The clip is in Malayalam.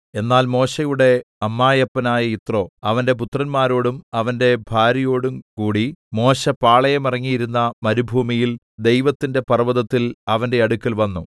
എന്നാൽ മോശെയുടെ അമ്മായപ്പനായ യിത്രോ അവന്റെ പുത്രന്മാരോടും അവന്റെ ഭാര്യയോടുംകൂടി മോശെ പാളയമിറങ്ങിയിരുന്ന മരുഭൂമിയിൽ ദൈവത്തിന്റെ പർവ്വതത്തിൽ അവന്റെ അടുക്കൽ വന്നു